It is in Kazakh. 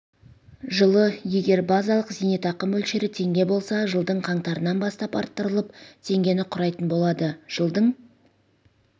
жылы егер базалық зейнетақы мөлшері теңге болса жылдың қаңтарынан бастап арттырылып теңгені құрайтын болады жылдың